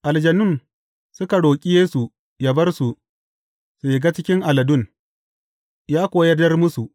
Aljanun suka roƙi Yesu ya bar su, su shiga cikin aladun, ya kuwa yardar musu.